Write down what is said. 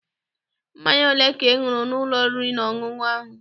Mmanya ole ka ị ṅụrụ n'ụlọ oriri na ọṅụṅụ ahụ?